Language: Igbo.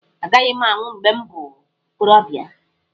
Agaghị m anwụ mgbe m bụ okorobịa.